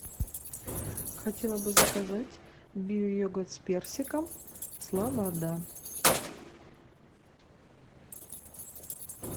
хотела бы заказать биойогурт с персиком слобода